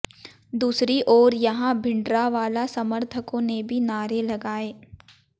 दूसरी ओर यहां भिंडरावाला समर्थकों ने भी नारे लगाए